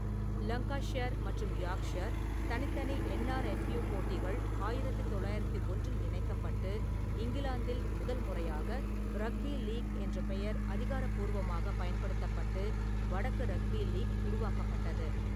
Lancashire மற்றும் Yorkshire தனித்தனி NRFU போட்டிகள் ஆயிரத்து தொள்ளாயிரத்தி ஒன்றில் இணைக்கப்பட்டு, இங்கிலாந்தில் முதல் முறையாக ரக்பி லீக் என்ற பெயர் அதிகாரப்பூர்வமாக பயன்படுத்தப்பட்டு, வடக்கு ரக்பி லீக் உருவாக்கப்பட்டது.